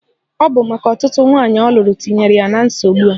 Ọ bụ maka ọtụtụ nwaanyị ọ lụrụ tinyere ya na nsogbu a.